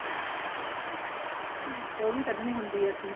ਉਹ ਵੀ ਕੱਡਣੀ ਹੰਦੀ ਏ ਅਸੀਂ